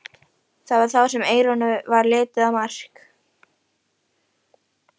Það var þá sem Eyrúnu varð litið á Mark.